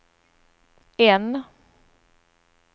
N